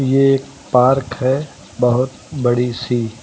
ये एक पार्क है बहोत बड़ी सी।